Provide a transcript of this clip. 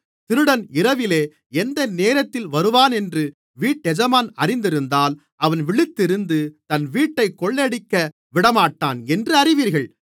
திருடன் இரவிலே எந்த நேரத்திலே வருவானென்று வீட்டெஜமான் அறிந்திருந்தால் அவன் விழித்திருந்து தன் வீட்டைக் கொள்ளையடிக்கவிடமாட்டான் என்று அறிவீர்கள்